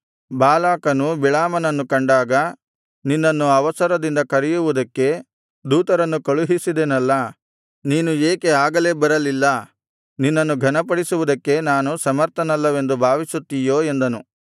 ಬಾಲಾಕನು ಬಿಳಾಮನನ್ನು ಕಂಡಾಗ ನಿನ್ನನ್ನು ಅವಸರದಿಂದ ಕರೆಯುವುದಕ್ಕೆ ದೂತರನ್ನು ಕಳುಹಿಸಿದೆನಲ್ಲಾ ನೀನು ಏಕೆ ಆಗಲೇ ಬರಲಿಲ್ಲ ನಿನ್ನನ್ನು ಘನಪಡಿಸುವುದಕ್ಕೆ ನಾನು ಸಮರ್ಥನಲ್ಲವೆಂದು ಭಾವಿಸುತ್ತೀಯೋ ಎಂದನು